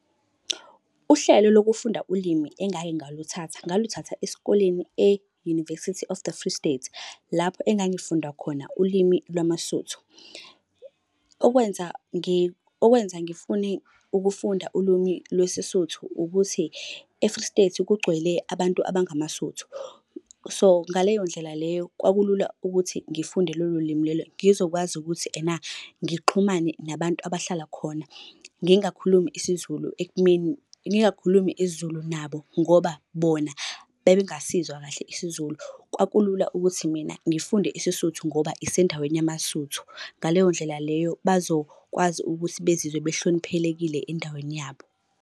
Uhlelo lokufunda ulimi engake ngaluthatha, ngaluthatha esikoleni e-University of the Free State, lapho engangifunda khona ulimi lwamaSotho. Okwenza okwenza ngifune ukufunda ulwimi lwesiSuthu, ukuthi e-Free State kugcwele abantu abangamaSuthu. So, ngaleyo ndlela leyo kwakulula ukuthi ngifunde lolo limi lolo ngizokwazi ukuthi ena ngixhumane nabantu abahlala khona. Ngingakhulumi isiZulu ekumeni, ngingakhulumi isiZulu nabo, ngoba bona babengasizwa kahle isiZulu. Kwakulula ukuthi mina ngifunde isiSuthu ngoba isendaweni yamaSuthu. Ngaleyo ndlela leyo bazokwazi ukuthi bezizwe bahloniphelekile endaweni yabo.